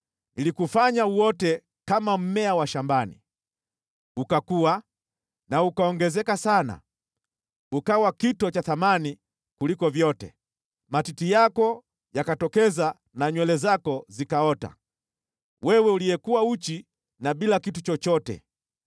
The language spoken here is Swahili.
Nilikufanya uote kama mmea wa shambani. Ukakua na kuongezeka sana, ukawa kito cha thamani kuliko vyote. Matiti yako yakatokeza na nywele zako zikaota, wewe uliyekuwa uchi na bila kitu chochote.